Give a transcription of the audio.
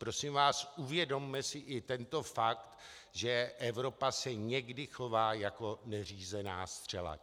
Prosím vás, uvědomme si i tento fakt, že Evropa se někdy chová jako neřízená střela.